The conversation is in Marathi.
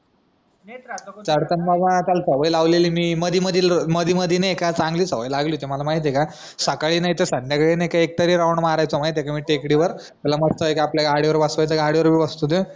चढतांना मी त्याला सवय लावलेली मधी मधी लय मधी मधी नाय की अ चान्गली सवय मला लागली होती माहितीये का सकाळी नी तर संद्याकाळी मी एक तरी राऊंड मारायचो माहितीये का मी टेकडीवर त्याला मस्त पैकी एक आपल्या गाडीवर बसवायचं गाडी वर बी बसत तो